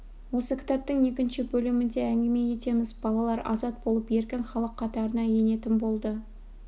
осы кітаптың екінші бөлімінде әңгіме етеміз балалар азат болып еркін халық қатарына енетін болды